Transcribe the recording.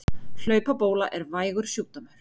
Hlaupabóla er vægur sjúkdómur.